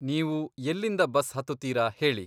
ನೀವು ಎಲ್ಲಿಂದ ಬಸ್ ಹತ್ತುತೀರ ಹೇಳಿ?